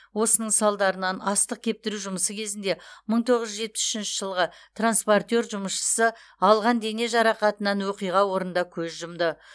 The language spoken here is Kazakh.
осының салдарынан астық кептіру жұмысы кезінде мың тоғыз жүз жетпіс үшінші жылғы транспортер жұмысшысы алған дене жарақатынан оқиға орнында көз жұмды